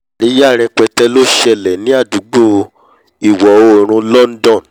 àríyá rẹpẹtẹ ló ṣẹlẹ̀ ní àdúgbò ìwọ̀-oòrùn london